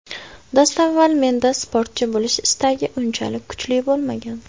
Dastavval menda sportchi bo‘lish istagi unchalik kuchli bo‘lmagan.